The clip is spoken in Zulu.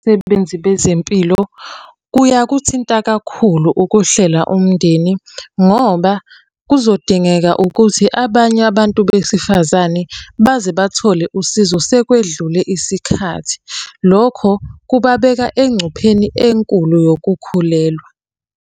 Sebenzi bezempilo, kuyakuthinta kakhulu ukuhlela umndeni, ngoba kuzodingeka ukuthi abanye abantu besifazane baze bathole usizo sekwedlule isikhathi. Lokho kubabeka engcupheni enkulu yokukhulelwa.